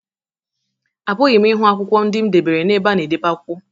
Apụghị m ịhụ akwụkwọ ndị m debere n'ebe a na-edebe akwụkwọ